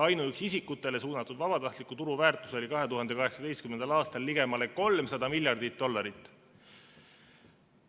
Ainuüksi isikutele suunatud vabatahtliku turu väärtus oli 2018. aastal ligemale 300 miljardit dollarit.